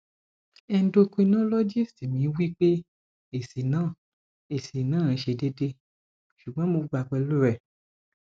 endocrinologist mi wi pe esi na esi na se deede sugbon mo gba pelu re